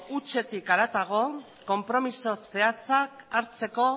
hutsetik haratago konpromiso zehatzak hartzeko